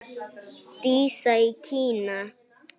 Dísa í Kína.